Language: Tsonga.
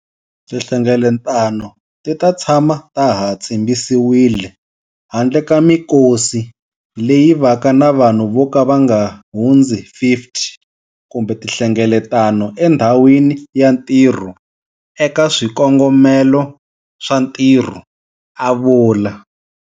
Tinhlengeletano ti ta tshama ta ha tshimbisiwile, handle ka mikosi leyi vaka na vanhu vo ka va nga hundzi 50 kumbe tinhlengeletano endhawini ya ntirho eka swikongomelo swa ntirho, a vula.